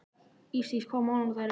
Ísdís, hvaða mánaðardagur er í dag?